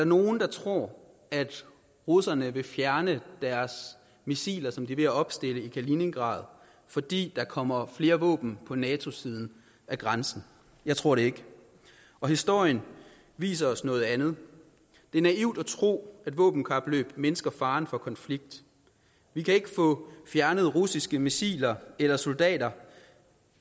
nogen der tror at russerne vil fjerne deres missiler som de er ved at opstille i kaliningrad fordi der kommer flere våben på natos side af grænsen jeg tror det ikke historien viser os noget andet det er naivt at tro at våbenkapløb mindsker faren for konflikt vi kan ikke få fjernet russiske missiler eller soldater